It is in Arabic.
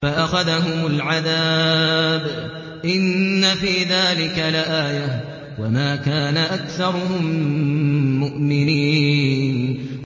فَأَخَذَهُمُ الْعَذَابُ ۗ إِنَّ فِي ذَٰلِكَ لَآيَةً ۖ وَمَا كَانَ أَكْثَرُهُم مُّؤْمِنِينَ